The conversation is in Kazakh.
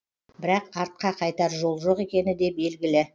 бірақ артқа қайтар жол жоқ екені де белгілі